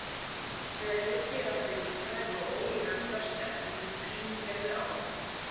Með ryki er átt við lífræn og ólífræn föst efni í fíngerðu ástandi.